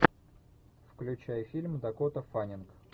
включай фильм дакота фаннинг